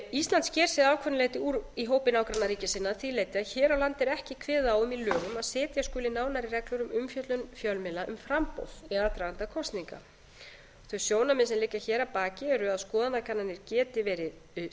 ísland sker sig að ákveðnu leyti úr í hópi nágrannaríkja sinna að því leyti að hér á landi er ekki kveðið á um í lögum að setja skuli nánari reglur um umfjöllun fjölmiðla um framboð í aðdraganda kosninga þau sjónarmið sem liggja hér að baki eru að skoðanakannanir geti verið skoðanamyndandi